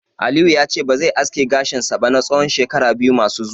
Aliyu yace ba zai aske gashin sa ba na tsawon shekara biyu masu zuwa